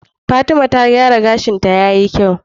Fatima ta gyara gashin ta yayi kyau